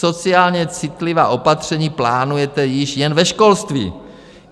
Sociálně citlivá opatření plánujete již jen ve školství.